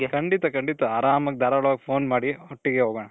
ಖಂಡಿತ ಖಂಡಿತ ಆರಾಮಾಗಿ ಧಾರಾಳವಾಗಿ phone ಮಾಡಿ ಒಟ್ಟಿಗೆ ಹೋಗೋಣ.